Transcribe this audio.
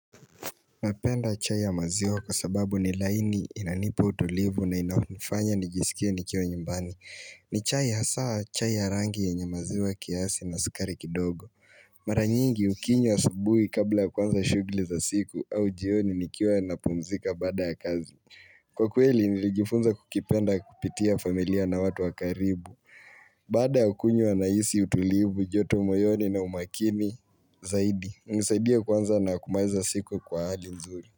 Napenda chai ya maziwa kwa sababu ni laini inanipa utulivu na inaonifanya nijisikie nikiwa nyimbani ni chai hasaa chai ya rangi yenye maziwa kiasi na sukari kidogo Mara nyingi ukinywa asubuhi kabla ya kuanza shugli za siku au jioni nikiwa na pumzika baada ya kazi Kwa kweli nilijifunza kukipenda kupitia familia na watu wa karibu Baada ya kunywa nahisi utulivu, joto moyoni na umakini zaidi unisaidia kwanza na kumaliza siku kwa hali nzuri.